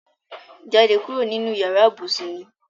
Jade kuro ninu iyara ibusun mi